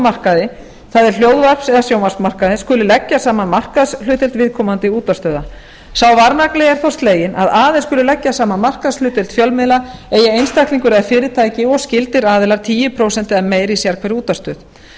markaði það er hljóðvarps eða sjónvarpsmarkaði skuli skuli leggja saman markaðshlutdeild viðkomandi útvarpsstöðva sá varnagli er þó sleginn að aðeins skuli leggja saman markaðshlutdeild fjölmiðla eigi einstaklingur eða fyrirtæki og skyldir aðilar tíu prósent eða meira í sérhverri útvarpsstöð